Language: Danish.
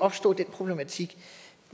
opstå den problematik